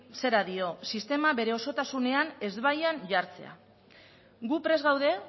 zera dio sistema bere osotasunean ezbaian jartzea gu prest gaude